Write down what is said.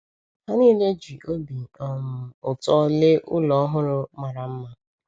Ha niile ji obi um ụtọ lee ụlọ ọhụrụ mara mma.